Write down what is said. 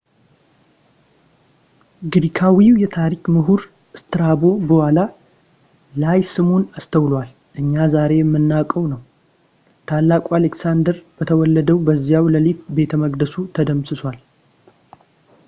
ግሪካዊው የታሪክ ምሁር ስትራቦ በኋላ ላይ ስሙን አስተውሏል ፣ እኛ ዛሬ የምናውቀው ነው። ታላቁ አሌክሳንደር በተወለደ በዚያው ሌሊት ቤተ መቅደሱ ተደምስሷል